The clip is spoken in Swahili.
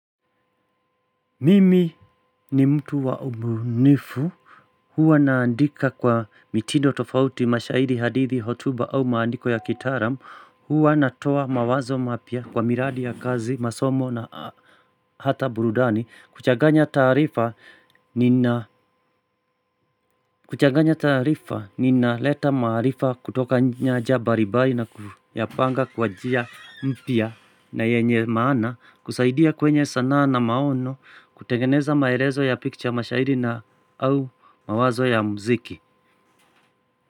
Mimi ni mtu wa ubunifu, huwa naandika kwa mitindo tofauti mashahiri hadithi hotuba au maandiko ya kitaalam, huwa natoa mawazo mapya kwa miradi ya kazi, masomo na hata burudani. Kuchaganya taarifa nina leta maarifa kutoka nyanja balibali na kuyapanga kwa njia mpya na yenye maana. Kusaidia kwenye sanaa na maono kutengeneza maelezo ya picha mashahiri na au mawazo ya mziki.